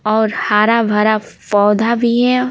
और हारा भरा पौधा भी है।